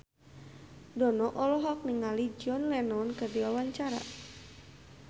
Dono olohok ningali John Lennon keur diwawancara